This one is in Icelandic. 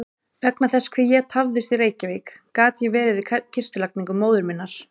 Vegna þess hve ég tafðist í Reykjavík gat ég verið við kistulagningu móður minnar.